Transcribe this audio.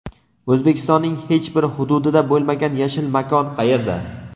O‘zbekistonning hech bir hududida bo‘lmagan yashil makon qayerda?.